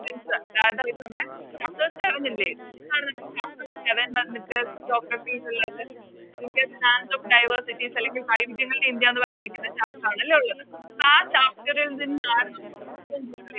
സ് അതായത് നമ്മള് Chapters കാണുന്നില്ലേ അതെന്താണ് നിങ്ങക്ക് Chapters geography ന്നുള്ളത് Indian plants of diversity അല്ലെങ്കിൽ വൈവിധ്യങ്ങളുടെ ഇന്ത്യന്ന് പറഞ്ഞിരിക്കുന്ന Chapter ആണ് അല്ലെ ഇള്ളത് ആ Chapter ൽ നിന്നാണ് നമുക്ക്